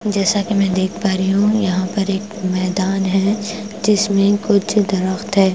जैसा कि मैं देख पा रही हूं यहां पर एक मैदान है जिसमें कुछ दरख्त है।